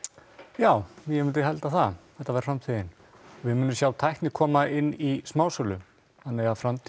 já ég myndi halda það þetta væri framtíðin við munum sjá tækni koma inn í smásölu þannig að framtíð